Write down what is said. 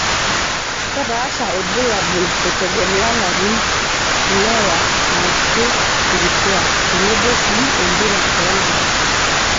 Kepaasha ilbulabul eitegemea ilarin, lewa aashu nkituak tenebo sii empira oonkulak.